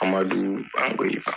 AMADU ANGOYIBA